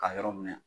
Ka yɔrɔ minɛ